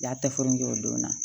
Y'a tɛfan kɛ o don na